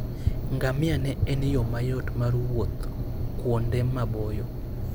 Ngamia ne en yo mayot mar wuoth kuonde maboyo.